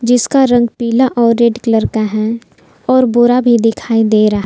जिसका रंग पीला और रेड कलर का है और बोरा भी दिखाई दे रहा--